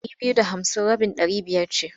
Ɗari biyu da hamsin rabin ɗari biyar ce.